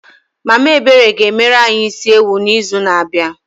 Mama Ebere ga-emere anyị isi ewu n'izu na-abịa.